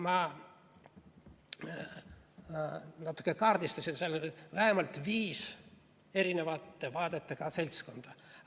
Ma natukene kaardistasin, seal oli vähemalt viis erinevate vaadetega seltskonda.